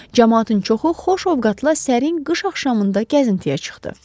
Camaatın çoxu xoşovqatla sərin qış axşamında gəzintiyə çıxdı.